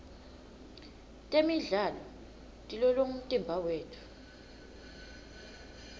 temidlalo tilolonga umtimba wetfu